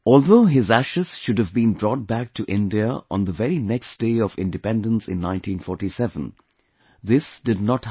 Although his ashes should have been brought back to India on the very next day of independence in 1947, this did not happen